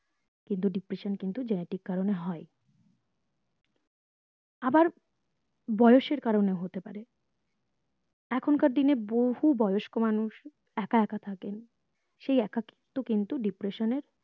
কিন্তু depression কিন্তু genetic কারণে হয় আবার বয়সের কারণে হতে পারে এখনকার দিনের বহু বয়স্ক মানুষ এক এক থাকেন সেই একাকিত্ব কিন্তু depression এর